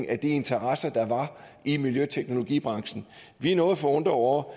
af de interesser der var i miljøteknologibranchen vi er noget forundrede over